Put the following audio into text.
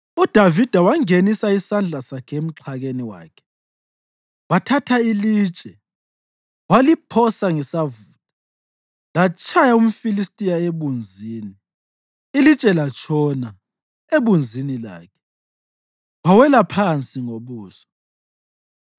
UDavida wangenisa isandla sakhe emxhakeni wakhe wathatha ilitshe, waliphosa ngesavutha latshaya umFilistiya ebunzini. Ilitshe latshona ebunzini lakhe, wawela phansi ngobuso.